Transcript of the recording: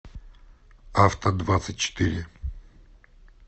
авто двадцать четыре